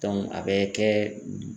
a bɛ kɛ